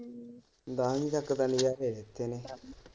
ਦਸਵੀਂ ਤੱਕ ਤਾਂ ਨਜਾਰੇ .